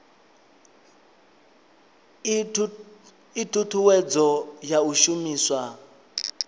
ii thuthuwedzo ya u shumiswa